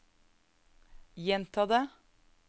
gjenta det